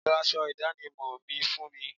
Lọ aṣọ ìdánimọ̀ mi fún mi.